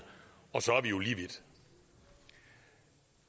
og så er vi jo lige vidt